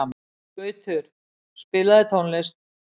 Gautur, spilaðu tónlist.